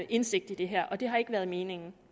indsigt i det her og det har ikke været meningen